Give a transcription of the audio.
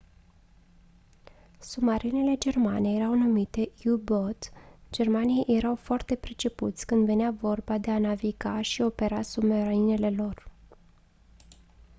submarinele germane erau numite u-boot germanii erau foarte pricepuți când venea vorba de a naviga și opera submarinele lor